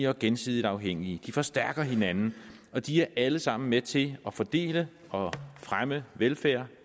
og gensidigt afhængige de forstærker hinanden og de er alle sammen med til at fordele og fremme velfærd